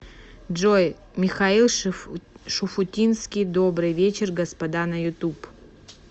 джой михаил шуфутинский добрый вечер господа на ютуб